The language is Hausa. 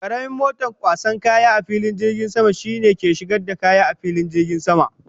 Karamin moton kwasan kaya a filin jirgin sama shine ke shigar da kaya a filin jirgin sama.